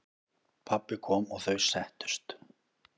Pabbi kom og þau settust.